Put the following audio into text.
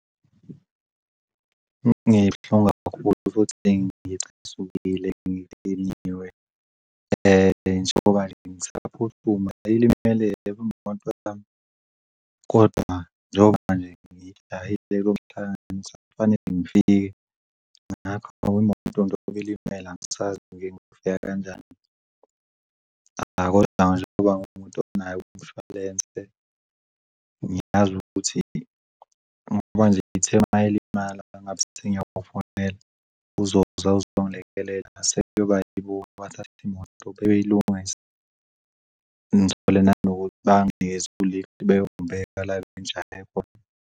Ngibuhlungu kakhulu futhi ngicasukile, ngidiniwe njengoba nje ngisaphuthuma ilimele moto ahambe kodwa njengoba manje ngidlala ihleleke lokuhlanganisa. Kufanele ngifike ngapha imoto njengoba ilimele angisazi nje ngifika kanjani. Hhayi, kodwa njengoba ngiwumuntu onayo umshwalense ngiyazi ukuthi ngoba nje ithe mayilimala ngabe sengiyabafonela uzoza uzongilekelela sekuyoba yibona abathathi imoto beyilungise ngithole nanokuthi banginikeze u-lift bengibeke la engijahe khona.